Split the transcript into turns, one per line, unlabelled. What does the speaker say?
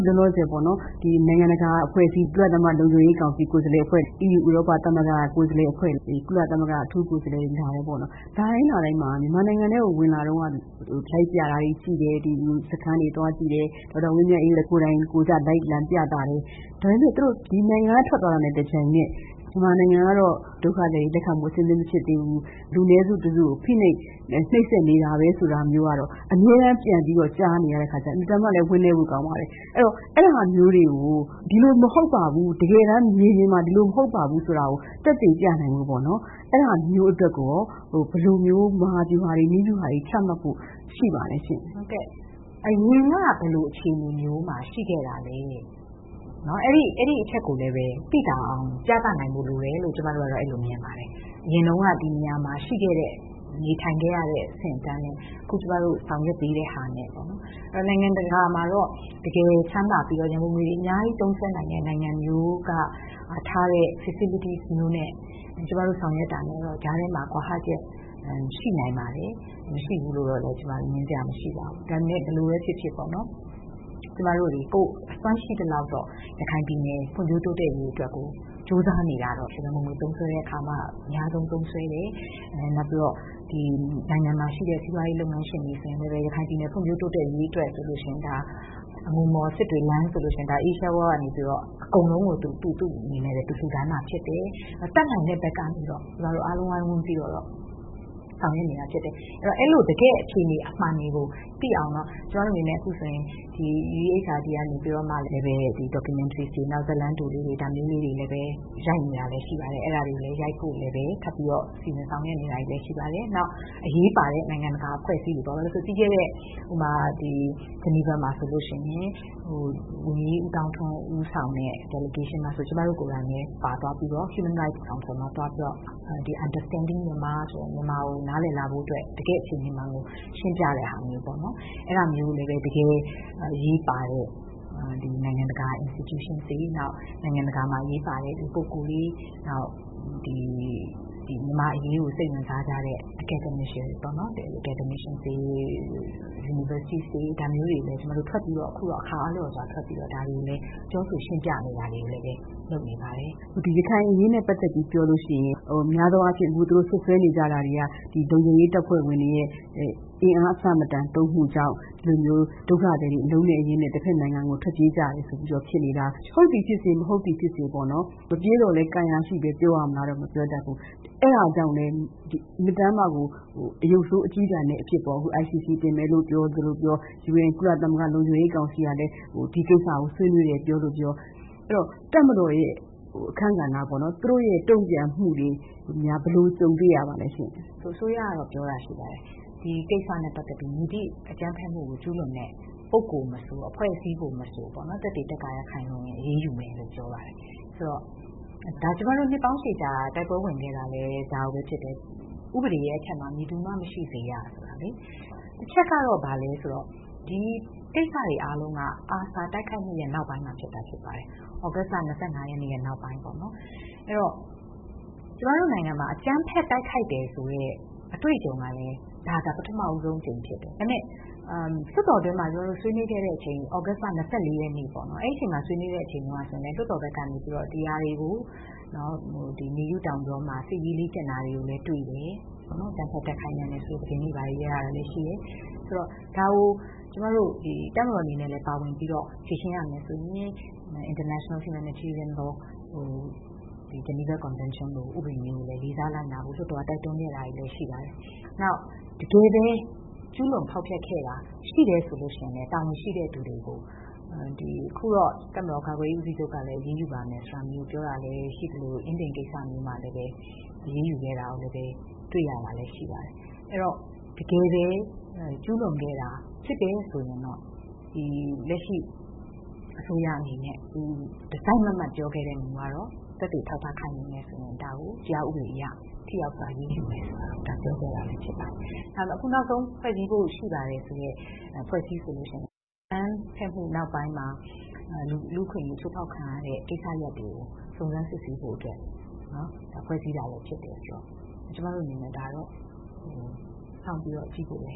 လောလောဆယ်ပေါ့နော်၊ နိုင်ငံတကာအဖွဲ့အစည်းတွေက လာပါတယ်။ ကုလသမဂ္ဂလုံခြုံရေးကောင်စီ ကိုယ်စားလှယ်အဖွဲ့ လာသွားတယ်။ အီးယူ ဥရောပသမဂ္ဂက ကိုယ်စားလှယ်အဖွဲ့ လာသွားတယ်။ ကုလသမဂ္ဂ အထူးကိုယ်စားလှယ်လာတယ်။ လာတိုင်းလာတိုင်းမှာ မြန်မာနိုင်ငံထဲကို ဝင်လာ တုန်းကနေပြီးတော့ လိုက်ပြတာတွေ ကြည့်တယ်၊ စခမ်းတွေသွားကြည့်တယ်၊ ဒေါက်တာ ဝင်းမြတ်အေးတို့လည်း ကိုယ်တိုင်ကိုယ်ကျ လိုက်လံပြသတယ်။ ဒါပေမယ့် သူတို့ ပြန်သွားပြီး ဒီနိုင်ငံက ထွက်သွားတာနဲ့တပြိုင်နက် 'မြန်မာနိုင်ငံကတော့ ဒုက္ခသည်တွေကို လက်ခံဖို့ အဆင်သင့်မဖြစ်သေးဘူး၊ မြန်မာနိုင်ငံ ကတော့ ဒီ လူနည်းစုတစုကို ဖိနှိပ် နှိပ်စက်နေတာပဲ..' ဆိုတာမျိုးကတော့ အမြဲတမ်းပြန်ပြီးတော့ ကြားနေရတဲ့အခါကျတော့ အင်မတန်မှလည်း ဝမ်းနည်းဖို့ ကောင်းပါတယ်။ အဲဒီတော့ အဲဒါမျိုးတွေကို ဘယ်လိုနည်းနဲ့ တကယ်တမ်းမြေပြင်မှာ ဒီလို မဟုတ်ပါဘူးဆိုတာကို သက်သေပြနိုင်ဖို့အတွက်ကို ဘယ်လိုမျိုး မဟာဗျူဟာတွေချမှတ်ဖို့ ရှိပါသလဲရှင့်။
ဟုတ်ကဲ့။ အရင်က ဘယ်လို အခြေအနေမျိုးမှာ ရှိခဲ့တာလဲ။ အဲဒီအချက်ကိုလည်းပဲ သိသာအောင် ပြသနိုင်ဖို့လိုတယ်လို့ ကျမကတော့ အဲလို မြင်ပါတယ်။ အရင်တုန်းက ဒီနေရာမှာရှိခဲ့တဲ့၊ နေထိုင်ခဲ့ရတဲ့အဆင့်အတန်းနဲ့ အခု ကျမတို့ ဆောင်ရွက်ပေးတဲ့ဟာနဲ့။ နိုင်ငံတကာမှာတော့ တကယ်ချမ်းသာ ပြီးတော့ ဝင်ငွေတွေ အများကြီး သုံးစွဲနိုင်တဲ့နိုင်ငံမျိုးက ထားတဲ့ facilities မျိုးနဲ့ ကျမတို့ ဆောင်ရွက်တာနဲ့တော့ ကြားထဲမှာ ကွာဟချက် ရှိနိုင်ပါတယ်။ မရှိဘူးလို့တော့လည်း ကျမ ငြင်းစရာမရှိပါဘူး။ ဒါပေမယ့် ဘယ်လိုပဲဖြစ်ဖြစ်ပေ့ါနော်၊ ကျမတို့တွေ ကိုယ့်အစွမ်းရှိသလောက်တော့ ရခိုင်ပြည်နယ် ဖွံ့ဖြိုး တိုးတက်ရေးအတွက်ကို ကြိုးစားနေတာကတော့- ရန်ပုံငွေ သုံးစွဲတဲ့အခါမှာ အများဆုံးသုံးစွဲတယ်။ နောက်ပြီးတော့ နိုင်ငံမှာရှိတဲ့ စီးပွားရေးလုပ်ငန်းရှင်တွေ ဆိုရင်လည်းပဲ ရခိုင်ပြည်နယ် ဖွံ့ဖြိုးတိုးတက်ရေးအတွက်ဆိုလို့ရှိရင် အငူမော် စစ်တွေလမ်းဆိုလို့ရှိရင် Asia World ကနေပြီးတော့ အကုန်လုံးကို သူ့လူတွေနဲ့သူ လမ်းလာချဲ့ပေးတယ်။ တတ်နိုင်တဲ့ဘက်ကနေပြီးတော့ ကျမတို့အားလုံး ဝိုင်းဝန်းပြီး ဆောင်ရွက်နေတာဖြစ်တယ်။ အဲဒီတော့ အဲဒီ တကယ့် အခြေအနေ မှန်တွေကို သိအောင်တော့ ကျမတို့အနေနဲ့ အခုဆိုရင် UEHRD ကနေပြီးတော့ Documentaries တွေ၊ ဇာတ်လမ်းတိုလေးတွေ၊ ဒါမျိုးလေး တွေနဲ့ပဲ ရိုက်နေတာလည်း ရှိပါတယ်။ အဲဒါတွေကိုလည်းပဲ ရိုက်ဖို့လည်းပဲ ထပ်ပြီးတော့ စီစဉ်ဆောင်ရွက်နေတာတွေလည်းပဲ ရှိပါတယ်။ နောက် အရေးပါ တဲ့ နိုင်င့တကာ အဖွဲ့အစည်းတွေပေါ့- ဥပမာ၊ ပြီးခဲ့တဲ့ ဂျနီဗာမှာဆိုလို့ရှိရင် ဝန်ကြီး ဦးသောင်းထွန်း ဦးဆောင်တဲ့ delegation မှာဆိုလို့ရှိရင် ကျမတို့ ကိုယ်တိုင်လည်း ပါသွားပြီးတော့ Human Rights Council မှာ သွားပြီးတော့ Understanding Myanmar ဆိုပြီး မြန်မာကို နားလည်လာဖို့အတွက် တကယ့် အခြေအနေမှန်ကို ရှင်းပြတဲ့ဟာမျိုးပေါ့နော်။ အဲဒါမျိုးကိုလည်း တကယ်အရေးပါတဲ့ နိုင်ငံတကာ institution တွေ၊ နောက် နိုင်ငံတကာမှာ အရေးပါတဲ့ လူပုဂ္ဂိုလ်တွေ၊ နောက် မြန်မာ့အရေးကို စိတ်ဝင်စားကြတဲ့ Academicians တွေကိုပေါ့နော်၊ Universities ၊ ဒါမျိုးတွေကို ကျမတို့ ထွက်ပြီးတော့ အခါအားလျော်စွာ ပြောဆိုရှင်းပြနေတာတွေကိုလည်းပဲ လုပ်နေပါတယ်။
အခု ရခိုင်အရေးနဲ့ပတ်သက်ပြီး ပြောလို့ရှိရင် များသောအားဖြင့် သူတို့ စွပ်စွဲနေကြတာတွေက လုံခြုံရေးတပ်ဖွဲ့ဝင်တွေရဲ့ အင်အားအဆမတန် သုံးမှု ကြောင့် ဒုက္ခသည်တွေ အလုံးနဲ့အရင်းနဲ့ တဘက်နိုင်ငံကို ထွက်ပြေးကြရတယ်ဆိုပြီးတော့ ဖြစ်နေကြတာ- ဟုတ်သည်ဖြစ်စေ၊ မဟုတ်သည်ဖြစ်စေ ပေါ့နော်-မပြေးသော်လည်း ကံရာရှိပဲ ပြောရမလားတော့ မပြောတတ်ဘူး၊ အဲဒါကြောင့်လည်းပဲ အင်မတန်မှကို အရုပ်ဆိုး အကျည်းတန်အဖြစ်ပေါ့။ အခု ICC တင်မယ်လို့ ပြောလို့ပြော၊ ကုလသမဂ္ဂလုံခြုံရေးကောင်စီကလည်း ဒီကိစ္စကို ဆွေးနွေးတယ် ပြောလိုပြော၊ အဲဒီတော့ တပ်မတော်ရဲ့အခန်းကဏ္ဍ ပေါ့နော်။ သူတို့ရဲ့တုံ့ပြန်မှုတွေကို ဘယ်လို ကြုံတွေ့ရပါသလဲရှင့်။
အစိုးရရဲ့ ပြောတာရှိပါတယ်။ ဒီကိစ္စနဲ့ပတ်သက်ပြီး မည်သည့်အကြမ်းဖက်မှုကို ကျူးလွန်တဲ့ ပုဂ္ဂိုလ်မဆို အဖွဲ့အစည်းကိုမဆို သက်သေ သက္ကာယ ခိုင်လုံရင် အရေးယူမယ်လို့ ပြောပါတယ်။..ဆိုတော့ ဒါ ကျမတို့ နှစ်ပေါင်းရှည်ကြာ တိုက်ပွဲဝင်ခဲ့တာလည်း ဒါကိုပဲဖြစ်တယ်။ 'ဥပဒေအထက်မှာ မည်သူမှ မရှိစေရ' ဆိုတာလေ။ တချက်ကတော့ ဘာလဲဆိုတော့ ဒီကိစ္စတွေအားလုံးက ARSA တိုက်ခိုက်မှုရဲ့နောက်ပိုင်းမှာဖြစ်တာဖြစ်ပါတယ်။ သြဂတ်စ်လ ၂၅ ရက်နေ့နောက်ပိုင်းပေါ့နော်၊ အဲဒီတော့ ကျမတို့နိုင်ငံမှာ အကြမ်းဖက်တိုက်ခိုက်တယ်ဆိုတဲ့ အတွေ့အကြုံကလည်း ဒါ ပထမဦးဆုံး အကြိမ်ဖြစ်တယ်။ ဒါပေမဲ့ လွှတ်တော်ထဲမှာ ကျမတို့ ဆွေးနွေးခဲ့ကြတဲ့အချိန် သြဂတ်စ်လ ၂၄ ရက်နေ့ပေါ့နော်၊ အဲဒီအချိန်မှာ ဆွေးနွေးခဲ့တဲ့ အချိန်တုန်းကဆိုရင် လွှတ်တော်ဘက်က နေပြီးတော့ ဒီအရာတွေကို မေယုတောင်ကြောမှာ စစ်ရေးလေ့ကျင့်တာတွေကိုလည်း တွေ့တယ်။ အကြမ်းဖက်တိုက်ခိုက်နိုင်တယ်ဆိုတဲ့ သတင်းတွေရတာ တွေလည်း ရှိတယ်။.... ဆိုတော့ ဒါကို တပ်မတော်အနေနဲ့လည်း ပါဝင်ပြီးတော့ ဖြေရှင်းရမယ်ဆိုရင် International Humanitarian Law - ဟို ဂျနီဗာ Convention လို ဥပဒေမျိုးကိုလည်း လေးစားလိုက်နာဖို့ လွှတ်တော်က တိုက်တွန်းခဲ့တာ ရှိပါတယ်။ နောက် တကယ်ပဲ ကျူးလွန်ဖောက်ဖျက်ခဲ့တာ ရှိတယ် ဆိုလို့ရှိရင်လည်း တာဝန်ရှိတဲ့သူတွေကို - အခုတော့ တပ်မတော် ကာကွယ်ရေးဦးစီးချုပ်ကလည်း အရေးယူပါမယ်ဆိုတာမျိုးကို ပြောတာလည်းရှိသလို အင်းဒင်ကိစ္စမျိုးမှာလည်း အရေးယူခဲ့တာကိုလည်း တွေ့ရပါတယ်။ အဲဒီတော့ တကယ်ပဲကျူးလွန်ခဲ့တာ ဖြစ်တယ်ဆိုရင်တော့ လက်ရှိ အစိုးရအနေနဲ့ သူ တစိုက်မတ်မတ် ပြောခဲ့တဲ့မူကတော့ သက်သေ အထောက်အထား ခိုင်လုံတယ်ဆိုရင် ဒါကို တရားဥပဒေအရ ထိရောက်စွာအရေးယူမယ်ဆိုတာကိုတော့ ပြောခဲ့တာလည်းဖြစ်ပါတယ်။ အခုနောက်ဆုံး ဖွဲ့စည်းဖို့ရှိပါတယ်ဆိုတဲ့ အဖွဲ့အစည်းဆိုလို့ရှိရင် အကြမ်းဖက်မှုနောက်ပိုင်းမှာ လူ့အခွင့်အရေး ချိုးဖောက်ခံ ရတဲ့ကိစ္စတွေကို စုံစမ်းစစ်ဆေးဖို့အတွက် ဖွဲ့စည်းတာပဲဖြစ်တယ်ဆိုတော့ ကျမတို့အနေနဲ့ ဒါတော့ စောင့်ပြီးတော့ကြည့်ဖို့လ